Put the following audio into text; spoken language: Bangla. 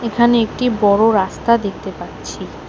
এখানে একটি বড় রাস্তা দেখতে পাচ্ছি।